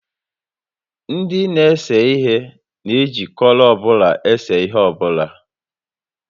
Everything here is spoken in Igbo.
Ndị n'ese ihe na eji kọlọ ọbụla ese ihe ọbụla